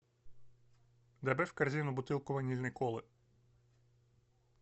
добавь в корзину бутылку ванильной колы